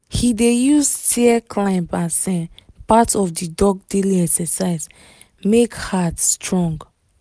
he dey use stair climb as um part of the dog daily exercise make heart strong.